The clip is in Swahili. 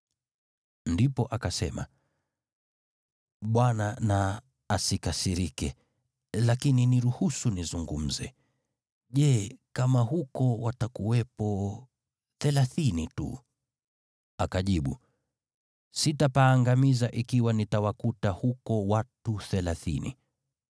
Ndipo akasema, “Bwana na asikasirike, lakini niruhusu nizungumze. Je, kama huko watakuwepo thelathini tu?” Akajibu, “Sitapaangamiza ikiwa nitawakuta huko watu thelathini.”